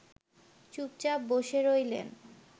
চুপচাপ বসে রইলেন